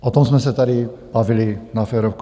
O tom jsme se tady bavili na férovku.